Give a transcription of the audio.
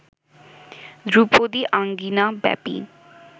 ধ্রুপদী আঙিনা ব্যাপী